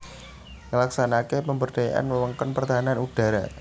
Nglaksanakaké pemberdayaan wewengkon pertahanan udhara